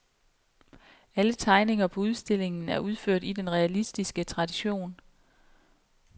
Alle tegninger på udstillingen er udført i den realistiske tradition.